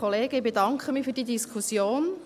Ich bedanke mich für diese Diskussion.